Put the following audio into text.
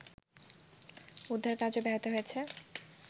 উদ্ধার কাজও ব্যাহত হচ্ছে